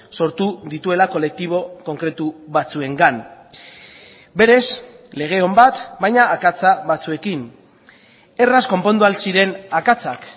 sortu dituela kolektibo konkretu batzuengan berez lege on bat baina akatsa batzuekin erraz konpondu ahal ziren akatsak